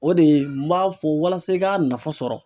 O de ye n m'a fɔ walasa i ka nafa sɔrɔ.